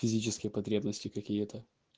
физические потребности какие-то